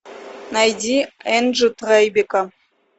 найди энджи трайбека